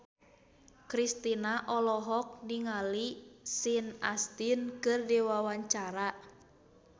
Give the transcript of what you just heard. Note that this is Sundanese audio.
Kristina olohok ningali Sean Astin keur diwawancara